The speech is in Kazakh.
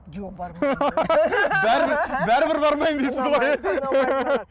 жоқ бармаймын бәрібір бәрібір бармаймын дейсіз ғой